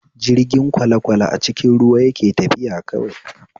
Jirgin kwalekwale a cikin ruwa yake tafiya kawai